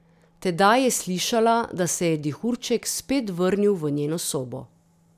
Tedaj je slišala, da se je dihurček spet vrnil v njeno sobo.